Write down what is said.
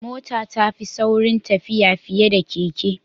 Mota ya fi sauri tafiya fiye da keke.